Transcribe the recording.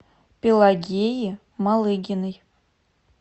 пелагеи малыгиной